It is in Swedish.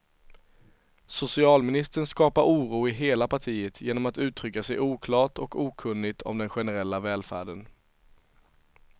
Socialministern skapar oro i hela partiet genom att uttrycka sig oklart och okunnigt om den generella välfärden.